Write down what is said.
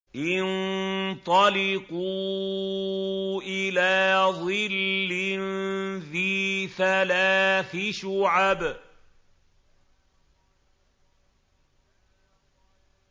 انطَلِقُوا إِلَىٰ ظِلٍّ ذِي ثَلَاثِ شُعَبٍ